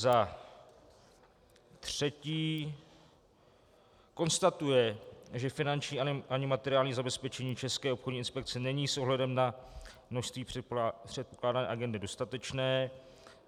Za třetí konstatuje, že finanční ani materiální zabezpečení České obchodní inspekce není s ohledem na množství předpokládané agendy dostatečné.